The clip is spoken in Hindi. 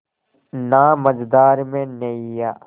ना मझधार में नैय्या